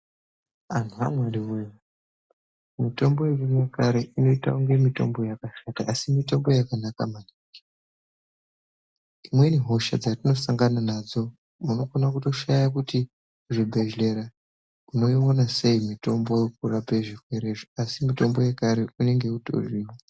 Antu aMwari wee mitombo yekare inoitange mitombo yakashata asi mitombo yakanaka maningi. Dzimweni hosha dzatinosangana nadzo unokona kutoshaya kuti zvibhedhlera voiwana sei mitombo yekurapa zvirwerezvo asi mitombo yekare inenge itoriyo.